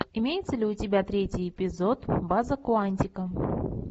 имеется ли у тебя третий эпизод база куантико